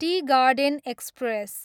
T garden express